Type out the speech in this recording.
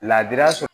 Laadira